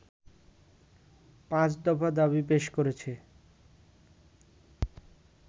পাঁচ দফা দাবি পেশ করেছে